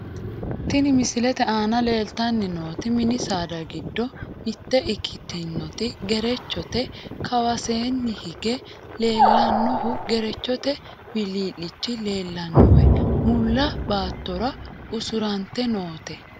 Tini misilete aana leeltanni nooti mini saada giddo mitte ikitinoti gerechote, kawaseenni hige leellannohu gerechote wilii'lichi leellannoe mulla baattora usurante noote.